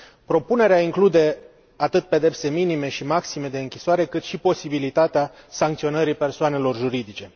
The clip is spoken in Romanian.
Propunerea include atât pedepse minime și maxime de închisoare, cât și posibilitatea sancționării persoanelor juridice.